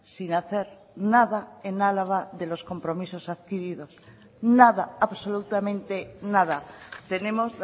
sin hacer nada en álava de los compromisos adquiridos nada absolutamente nada tenemos